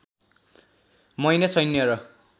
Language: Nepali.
महिने सैन्य र